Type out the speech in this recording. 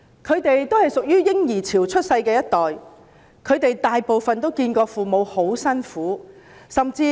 他們是在"嬰兒潮"出生的一代，大部分均目睹父母艱苦工作。